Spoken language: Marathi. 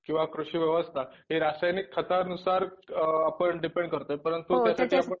किंवा कृषि व्यवस्था हे रासायनिक खतानुसार अ आपण डिपेन्ड करतं